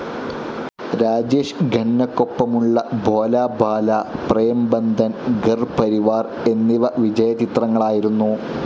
രാജേഷ് ഖന്നയ്ക്കൊപ്പമുള്ള ഭോലാ ഭാലാ, പ്രേം ബന്ധൻ, ഘർ പരിവാർ എന്നിവ വിജയചിത്രങ്ങളായിരുന്നു.